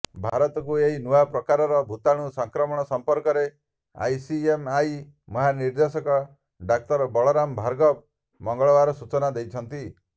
ଭାରତକୁ ଏହି ନୂଆ ପ୍ରକାରର ଭୂତାଣୁ ସଂକ୍ରମଣ ସମ୍ପର୍କରେ ଆଇସିଏମ୍ଆର ମହାନିର୍ଦେଶକ ଡାକ୍ତର ବଳରାମ ଭାର୍ଗବ ମଙ୍ଗଳବାର ସୂଚନା ଦେଇଛନ୍ତି